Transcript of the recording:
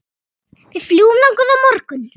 Við fljúgum þangað á morgun.